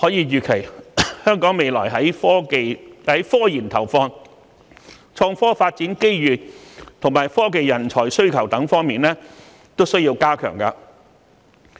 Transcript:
預期本港未來的科研投放、創科發展機遇和科技人才需求都需要增加。